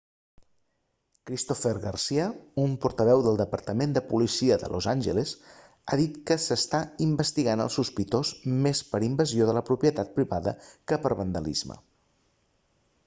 cristopher garcia un portaveu del departament de policia de los angeles ha dit que s'està investigant el sospitós més per invasió de la propietat privada que per vandalisme